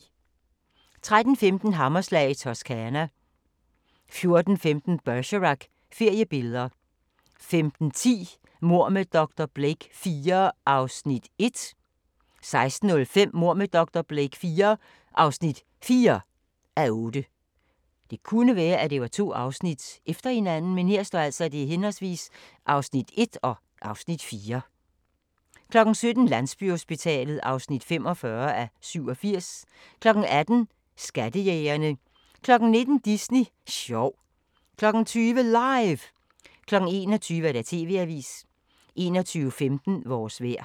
13:15: Hammerslag i Toscana 14:15: Bergerac: Feriebilleder 15:10: Mord med dr. Blake IV (1:8) 16:05: Mord med dr. Blake IV (4:8) 17:00: Landsbyhospitalet (45:87) 18:00: Skattejægerne 19:00: Disney sjov 20:00: LIVE! 21:00: TV-avisen 21:15: Vores vejr